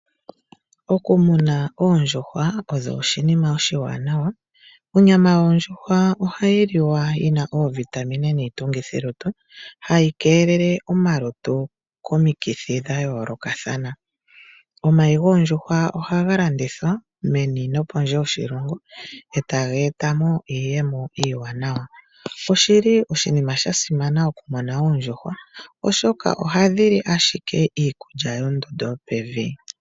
Okumuna oondjuhwa osho oshinima oshiwana, onyama yoondjuhwa ohayi liwa yina oovitamine niitungithilutu hayi keelele omalutu komikithi dha yoolokathana. Omayi goondjuhwa ohaga landithwa meni nopondje yoshilongo eta ga eta mo iiyemo iiwanawa. Oshili oshinima sha simana okumuna oondjuhwa oshoka ohadhi li ashike iikulya yondondo yo pevi.